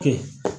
Kɛ